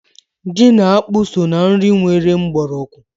Ji na akpụ so na nri nwere mgbọrọgwụ.